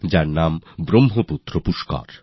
এরনাম Brahmaputra Pushkar